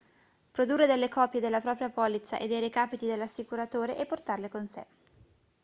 produrre delle copie della propria polizza e dei recapiti dell'assicuratore e portarle con sé